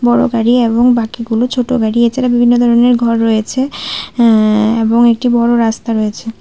বড় গাড়ি এবং বাকিগুলো ছোট গাড়ি এছাড়া বিভিন্ন ধরনের ঘর রয়েছে এ্যাঁ এবং একটি বড় রাস্তা রয়েছে।